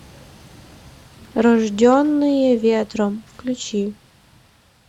рожденные ветром включи